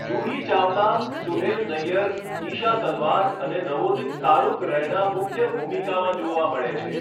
જુહી ચાવલા, સુહેલ નય્યર, ઈશા તલવાર અને નવોદિત તારૂક રૈના મુખ્ય ભૂમિકામાં જોવા મળે છે.